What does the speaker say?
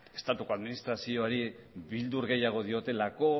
estatuko administrazioari bildur gehiago diotelako